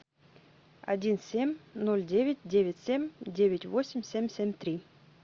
один семь ноль девять девять семь девять восемь семь семь три